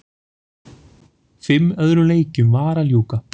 Fimm öðrum leikjum var að ljúka